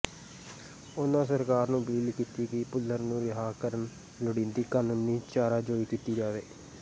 ਉਨ੍ਹਾਂ ਸਰਕਾਰ ਨੂੰ ਅਪੀਲ ਕੀਤੀ ਕਿ ਭੁੱਲਰ ਨੂੰ ਰਿਹਾਅ ਕਰਨ ਲੋੜੀਂਦੀ ਕਾਨੂੰਨੀ ਚਾਰਾਜੋਈ ਕੀਤੀ ਜਾਵੇ